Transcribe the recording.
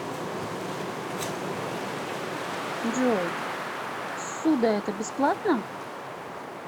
джой ссуда это бесплатно